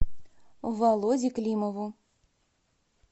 володе климову